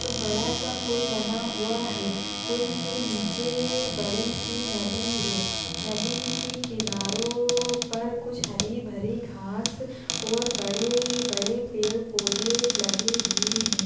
बड़ा सा पुल बना हुआ है। पुल के नीचे बड़ी सी नदी है। नदी के किनारो पर कुछ हरी- भरी घास और बड़े-बड़े पेड़- पौधे लगे हुए हैं।